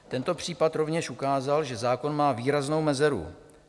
Tento případ rovněž ukázal, že zákon má výraznou mezeru.